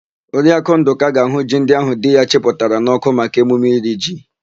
Oriakụ Ndụka ga-àhụ́ ji ndị áhụ̀ di ya chịpụtara n'ọ́kụ́ maka emume iri ji.